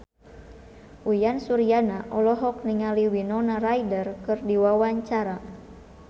Uyan Suryana olohok ningali Winona Ryder keur diwawancara